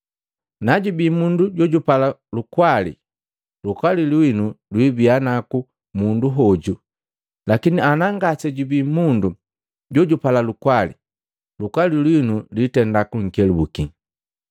Najubi mundu jojupala lukwali, lukwali lwinu lwibia naku mundu hoju lakini ana ngase jubii mundu jojupala lukwali, lukwali lwinu lwitenda kunkelabuki.